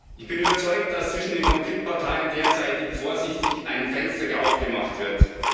Ich bin überzeugt, dass zwischen den Konfliktparteien derzeit vorsichtig ein Fenster aufgemacht wird.